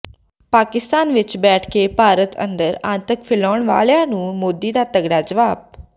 ਪਾਕਿਸਤਾਨ ਵਿਚ ਬੈਠ ਕੇ ਭਾਰਤ ਅੰਦਰ ਆਤੰਕ ਫੈਲਾਉਣ ਵਾਲਿਆਂ ਨੂੰ ਮੋਦੀ ਦਾ ਤਗੜਾ ਜਵਾਬ